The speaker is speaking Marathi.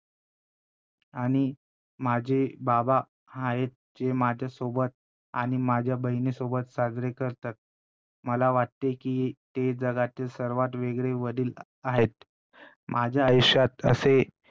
आणि माझे बाबा हायेत ते माझ्यासोबत आणि माझ्या बहिणीसोबत साजरे करतात. मला वाटते कि ते जगातील सर्वात वेगळे वडील आहेत, माझ्या आयुष्यात असे